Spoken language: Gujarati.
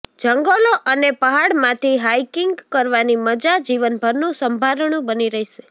જંગલો અને પહાડમાંથી હાઈકિંગ કરવાની મજા જીવનભરનું સંભારણું બની રહેશે